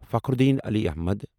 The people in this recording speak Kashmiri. فخرالدین علی احمد